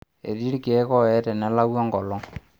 Etii ilkeek ooye tenelau enkolong'